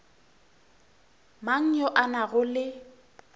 mang yo a nago le